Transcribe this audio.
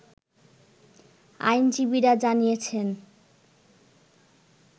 আইনজীবীরা জানিয়েছেন